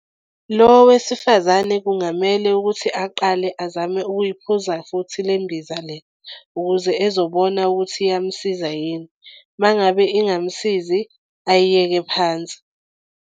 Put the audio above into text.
Lo wesifazane kungamele ukuthi aqale azame ukuyiphuza futhi le mbiza le, ukuze ezobona ukuthi iyamsiza yini. Uma ngabe ingamsizi ayiyeke phansi.